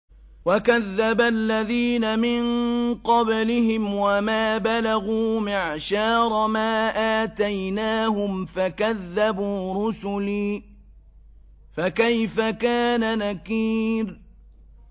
وَكَذَّبَ الَّذِينَ مِن قَبْلِهِمْ وَمَا بَلَغُوا مِعْشَارَ مَا آتَيْنَاهُمْ فَكَذَّبُوا رُسُلِي ۖ فَكَيْفَ كَانَ نَكِيرِ